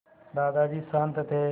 दादाजी शान्त थे